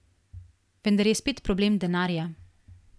Vendar je spet problem denarja.